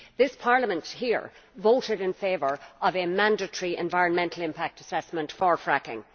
This Parliament here voted in favour of mandatory environmental impact assessment for fracking.